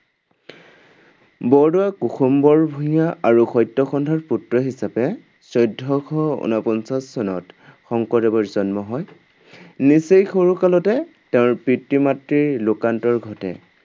বৰদোৱাৰ কুসুম্বৰ ভূঞা আৰু সত্যসন্ধাৰ পুত্ৰ হিচাপে চৈধ্যশ উনপঞ্চাশ চনত শংকৰদেৱৰ জন্ম হয়। নিচেই সৰু কালতে তেওঁৰ পিতৃ-মাতৃৰ লোকান্তৰ ঘটে।